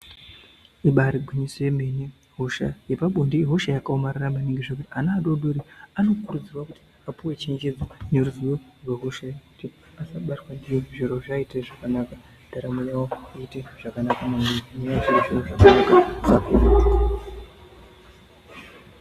Ibaari gwinyiso yemene hosha yepabonde ihosha yakaomarara maningi zvekuti ana adoodori anokurudzirwa kuti apuwe chenjedzo neruzivo rwehosha iyi kuti akabatwa ndiyo zviro zvivaitire zvakanaka. Ndaramo yavo iite zvakanaka maningi nenyaya yezvirozvo zvakanaka...